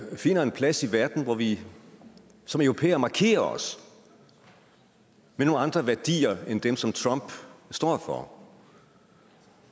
finder en plads i verden hvor vi som europæere markerer os med nogle andre værdier end dem som trump står for